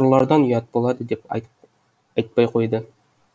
ұрылардан ұят болады деп айт айтпай қойды